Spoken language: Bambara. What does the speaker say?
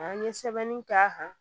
An ye sɛbɛnni k'a kan